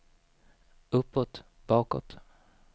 uppåt bakåt